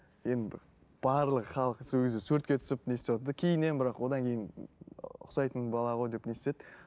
енді бір барлығы халық сол кезде суретке түсіп не істеватыр да кейіннен бірақ одан кейін ыыы ұқсайтын бала ғой деп не істеді